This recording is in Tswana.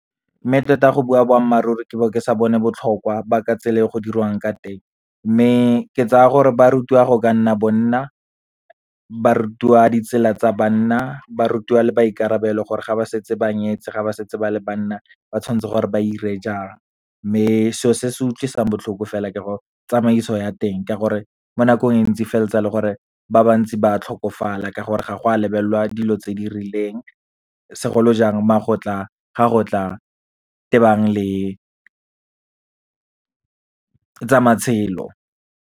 Mme tota go bua boammaaruri, ke bo ke sa bone botlhokwa ba ka tsela e go dirwang ka teng. Mme ke tsaya gore ba rutiwa go ka nna bonna, ba rutiwa ditsela tsa banna, ba rutiwa le maikarabelo gore ga ba setse ba nyetse, ga ba setse ba le banna ba tshwantse gore ba ire jang. Mme seo se se utlwisang botlhoko fela ke go tsamaiso ya teng, ka gore mo nakong e ntsi feleletsa le gore ba bantsi ba tlhokofala ka gore ga go a lebelelwa dilo tse di rileng, segolo jang ga go tla tebang le tsa matshelo.